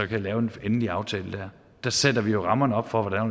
kan lave en endelig aftale der der sætter vi jo rammerne op for hvordan og